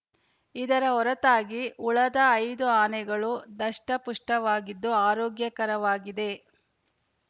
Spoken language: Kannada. ಇದರ ಹೊರತಾಗಿ ಉಳದ ಐದು ಆನೆಗಳು ದಷ್ಟಪುಷ್ಟವಾಗಿದ್ದು ಆರೋಗ್ಯಕರವಾಗಿದೆ